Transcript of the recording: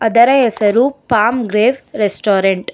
ಅದರ ಹೆಸರು palm grape restaurant .